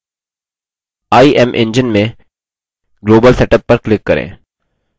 imengine में global setup पर click करें